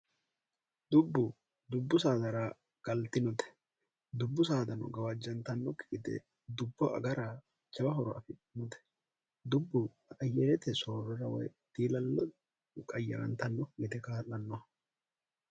dubbu dubbu saadara galtinote dubbu saadano gawaajjantannokki gite dubbo agara cawa horo afiinote dubbu aayerete soorrora woy diilallo qayyarantanno yite kaa'lanno